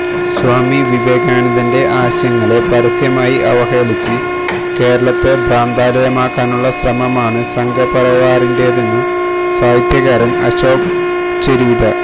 സ്വാമി വിവേകാനന്ദന്റെ ആശയങ്ങളെ പരസ്യമായി അവഹേളിച്ച് കേരളത്തെ ഭ്രാന്താലയമാക്കാനുള്ള ശ്രമമാണ് സംഘപരിവാറിന്റേതെന്നു സാഹിത്യകാരന് അശോകന് ചെരുവില്